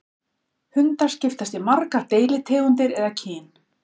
Hundar skiptast í margar deilitegundir eða kyn.